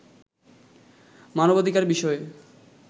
মানবাধিকার বিষয়ে